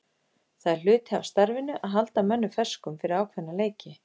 Það er hluti af starfinu að halda mönnum ferskum fyrir ákveðna leiki.